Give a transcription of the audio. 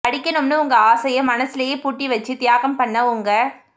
படிக்கணும்னு உங்க ஆசையை மனசிலே பூட்டி வச்சி தியாகம் பண்ண உங்க